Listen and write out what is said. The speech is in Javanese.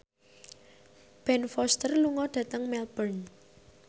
Ben Foster lunga dhateng Melbourne